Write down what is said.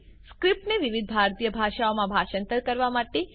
સ્ક્રીપ્ટને વિવિધ ભારતીય ભાષાઓમાં ભાષાંતર કરવા માટે